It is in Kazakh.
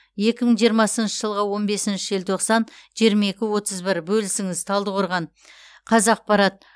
екі мың жиырмасыншы жылғы он бесінші желтоқсан жиырма екі отыз бір бөлісіңіз талдықорған қазақпарат